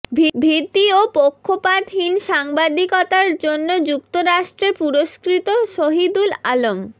ভীতি ও পক্ষপাতহীন সাংবাদিকতার জন্য যুক্তরাষ্ট্রে পুরস্কৃত শহিদুল আলম